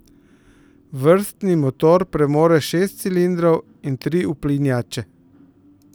Vrstni motor premore šest cilindrov in tri uplinjače.